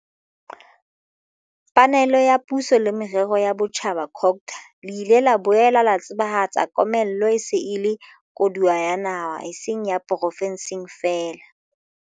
panelo ya Puso le Merero ya Botjhaba, COGTA, le ile la boela la tsebahatsa komello e se e le koduwa ya naha e seng ya porofenseng feela.